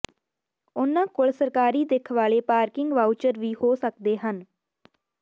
ਉਨ੍ਹਾਂ ਕੋਲ ਸਰਕਾਰੀ ਦਿੱਖ ਵਾਲੇ ਪਾਰਕਿੰਗ ਵਾਊਚਰ ਵੀ ਹੋ ਸਕਦੇ ਹਨ